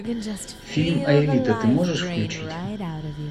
фильм аэлита ты можешь включить